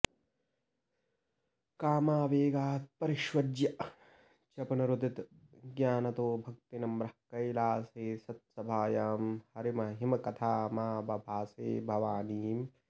कामावेगात् परिष्वज्य च पुनरुदितज्ञानतो भक्तिनम्रः कैलासे सत्सभायां हरिमहिमकथामाबभाषे भवानीम्